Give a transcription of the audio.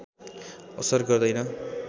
असर गर्दैन